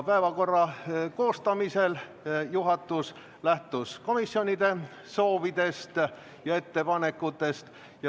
Päevakorra koostamisel lähtus juhatus komisjonide soovidest ja ettepanekutest.